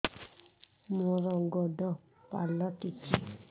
ମୋର ଗୋଡ଼ ପାଲଟିଛି